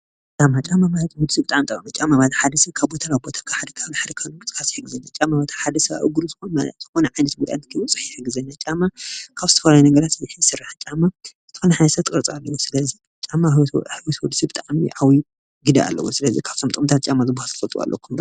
ጫማ ማለት ኣብ እግሪ ዝግበር ኮይኑ ካብ ቦታ ናብ ቦታ ምንቅስቃስ ይጠቅም።